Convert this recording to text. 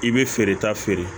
I bɛ feereta feere